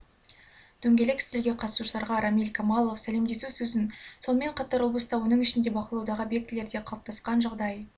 дөңгелек үстелге қатысушыларға рамиль камалов сәлемдесу сөзін сонымен қатар облыста оның ішінде бақылаудағы объектілерде қалыптасқан жағдай